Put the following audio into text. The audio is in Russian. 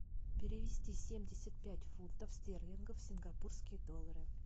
перевести семьдесят пять фунтов стерлингов в сингапурские доллары